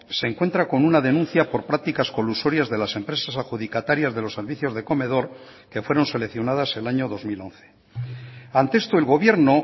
se encuentra con una denuncia por prácticas colusorias de las empresas adjudicatarias de los servicios de comedor que fueron seleccionadas el año dos mil once ante esto el gobierno